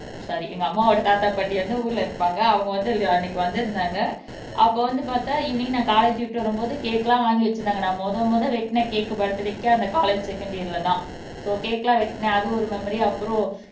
sorry எங்க அம்மாவோட தாத்தா பாட்டி வந்து ஊர்ல இருப்பாங்க அவங்க வந்து அன்னைக்கு வந்திருந்தாங்க அப்போ வந்து பாத்தா ஈவினிங் நான் காலேஜ் விட்டு வரும்போது கேக் எல்லாம் வாங்கி வச்சிருந்தாங்க நான் முத முத வெட்டுன கேக் பர்த்டேக்கு அந்த காலேஜ் செகண்ட் இயர்ல தான் சோ கேக் எல்லாம் வெட்டுனேன் அது ஒரு மெமரி அப்புறம்